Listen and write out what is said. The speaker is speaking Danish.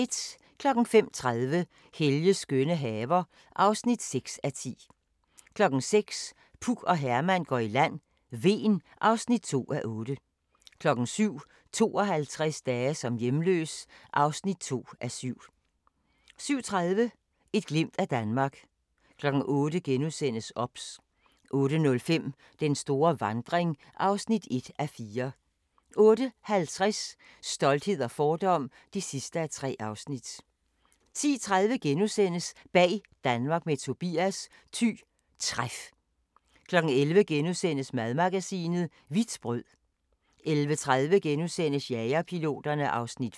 05:30: Helges skønne haver (6:10) 06:00: Puk og Herman går i land: Hven (2:8) 07:00: 52 dage som hjemløs (2:7) 07:30: Et glimt af Danmark 08:00: OBS * 08:05: Den store vandring (1:4) 08:50: Stolthed og fordom (3:3) 10:30: Bag Danmark med Tobias – Thy Træf * 11:00: Madmagasinet – Hvidt brød * 11:30: Jagerpiloterne (Afs. 5)*